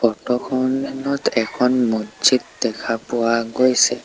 Photo খনত এখন মজজিদ দেখা পোৱা গৈছে।